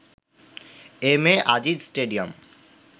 MA Aziz stadium